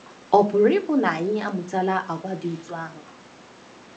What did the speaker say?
Ọ pụrụ ịbụ na anyị amụtala àgwà dị otú ahụ?